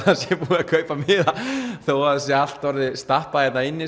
kaupa þó að það sé allt orðið stappað hérna inni